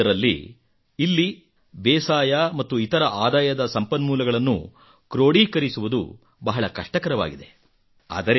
ಇಂತಹದ್ದರಲ್ಲಿ ಇಲ್ಲಿ ಬೇಸಾಯ ಮತ್ತು ಇತರ ಆದಾಯದ ಸಂಪನ್ಮೂಲಗಳನ್ನು ಕ್ರೋಢೀಕರಿಸುವುದು ಬಹಳ ಕಷ್ಟಕರವಾಗಿದೆ